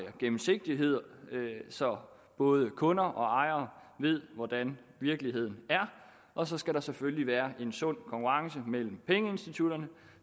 er gennemsigtighed så både kunder og ejere ved hvordan virkeligheden er og så skal der selvfølgelig være en sund konkurrence mellem pengeinstitutterne